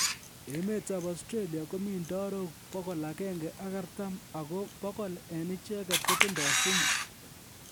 Enemetab Austalia, komii ndarok 140 ago 100 en icheget kotindo sumu